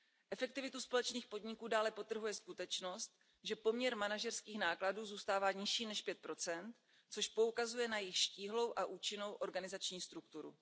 Efektivitu společných podniků dále podtrhuje skutečnost, že poměr manažerských nákladů zůstává nižší než 5 což poukazuje na jejich štíhlou a účinnou organizační strukturu.